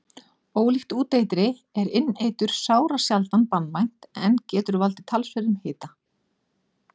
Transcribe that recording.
Ólíkt úteitri er inneitur sárasjaldan banvænt en getur valdið talsverðum hita.